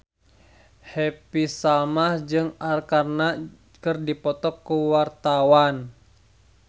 Happy Salma jeung Arkarna keur dipoto ku wartawan